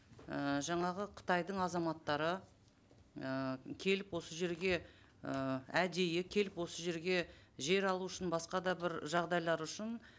ііі жаңағы қытайдың азаматтары ыыы келіп осы жерге ыыы әдейі келіп осы жерге жер алу үшін басқа да бір жағдайлар үшін